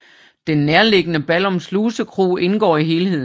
Den nærliggende Ballum Slusekro indgår i helheden